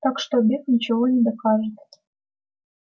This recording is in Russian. так что обед ничего не докажет